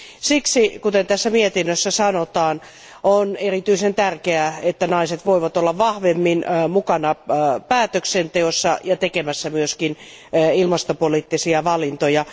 Siksi, kuten tässä mietinnössä sanotaan, on erityisen tärkeää, että naiset voivat olla vahvemmin mukana päätöksenteossa ja tekemässä myös ilmastopoliittisia valintoja.